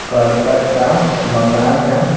करकट का मकान है।